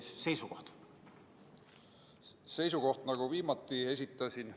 Seisukoht oli selline, nagu ma viimati esitasin.